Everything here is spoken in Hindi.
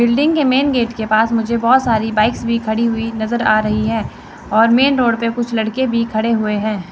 बिल्डिंग के मेन गेट के पास मुझे बहोत सारी बाइक्स भी खड़ी हुई नज़र आ रही है और मेन रोड पे कुछ लड़के भी खड़े हुए है।